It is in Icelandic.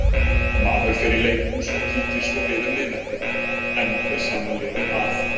Maður fer í leikhús og kíkir svo við um miðnætti- enn er sama liðið að.